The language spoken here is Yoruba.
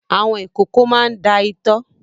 Àwọn ìkókó máa ń da itọ́.